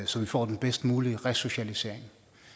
så vi får den bedst mulige resocialisering